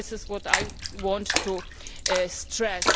This is what I want to stress.